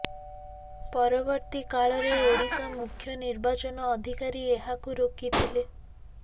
ପରବର୍ତ୍ତୀ କାଳରେ ଓଡ଼ିଶା ମୁଖ୍ୟ ନିର୍ବାଚନ ଅଧିକାରୀ ଏହାକୁ ରୋକିଥିଲେ